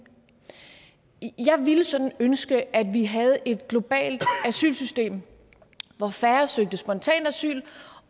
jeg ville sådan ønske at vi havde et globalt asylsystem hvor færre søgte spontant asyl